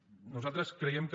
nosaltres creiem que